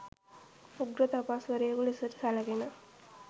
උග්‍ර තපස් වරයෙකු ලෙසට සැලකෙන